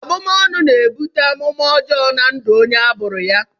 Abumọnu na-ebute amụmá ọjọọ na ndụ onye a bụrụ ọnụ.